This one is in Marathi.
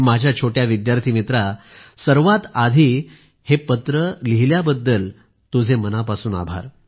माझ्याछोट्या विद्यार्थी मित्रा सर्वात आधी हे पत्र लिहिल्याबद्दल आपले मनापासून आभार